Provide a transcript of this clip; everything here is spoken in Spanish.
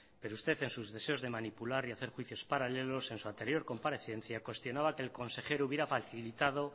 pero usted en sus deseos de manipular y hacer juicios paralelos en su anterior comparecencia cuestionaba que el consejero hubiera facilitado